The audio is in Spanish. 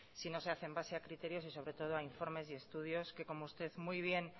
si no se hacen en base a criterios y sobretodo a informes y estudios que como usted muy bien